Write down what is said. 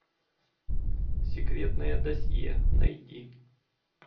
секретное досье найди